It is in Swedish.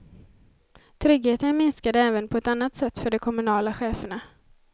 Tryggheten minskade även på ett annat sätt för de kommunala cheferna.